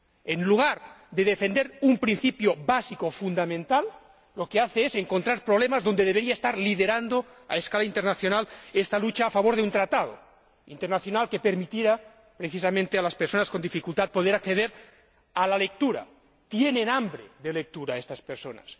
En lugar de defender un principio básico, fundamental, lo que hace es encontrar problemas cuando debería estar liderando, a escala mundial, esta lucha a favor de un tratado internacional que permita precisamente a las personas con dificultad poder acceder a la lectura tienen hambre de lectura estas personas.